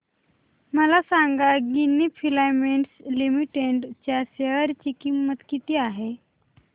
मला सांगा Ginni filaments limited च्या शेअर ची किंमत किती आहे